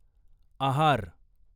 आहार